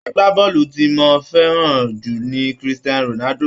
Agbábọ́ọ̀lù tí mo fẹ́ràn jù lọ ni Christian Ronaldo.